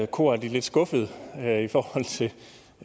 koret af de lidt skuffede